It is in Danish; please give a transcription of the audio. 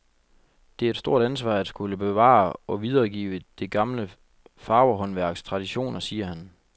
Det er et stort ansvar, at skulle bevare og videregive det gamle farverhåndværks traditioner, siger han.